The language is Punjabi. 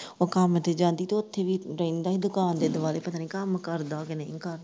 ਉਹ ਕੰਮ ਤੇ ਜਾਂਦੀ ਤੇ ਉੱਥੇ ਵੀ ਬਹਿੰਦਾ ਹੀ ਦੁਕਾਨ ਦੇ ਦੁਆਲੇ ਪਤਾ ਨੀ ਕੰਮ ਕਰਦਾ ਕੀ ਨਹੀਂ ਕਰਦਾ।